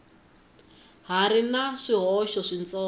ha ri na swihoxo switsongo